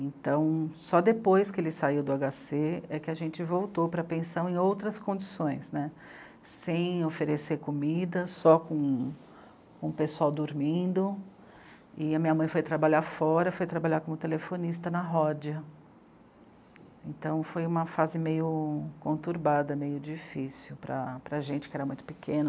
Então, só depois que ele saiu do HC, é que a gente voltou para a pensão em outras condições, né, sem oferecer comida, só com... com o pessoal dormindo e a minha mãe foi trabalhar fora, foi trabalhar como telefonista na Ródia. Então foi uma fase meio conturbada, meio difícil para para a gente, que era muito pequeno